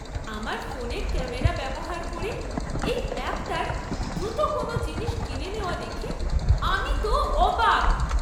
আমার ফোনের ক্যামেরা ব্যবহার করে এই অ্যাপটার দ্রুত কোনও জিনিস চিনে নেওয়া দেখে আমি তো অবাক!